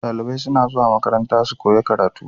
Dalibai suna zuwa makaranta su koya karatu